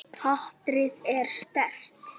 Hatrið er sterkt.